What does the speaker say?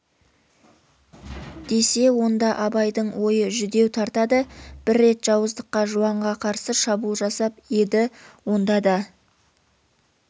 десе онда абайдың ойы жүдеу тартады бір рет жауыздыққа жуанға қарсы шабуыл жасап еді онда да